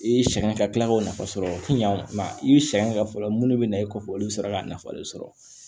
I ye sɛgɛn ka tila k'o nafa sɔrɔ yan i bɛ sɛgɛn kɛ fɔlɔ mun de bɛ na e kɔfɛ olu bɛ sera ka nafa de sɔrɔ